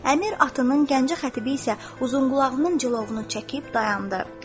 Əmir atının, Gəncə xətibi isə uzunqulağının cilovunu çəkib dayandı.